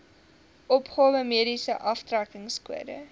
opgawe mediese aftrekkingskode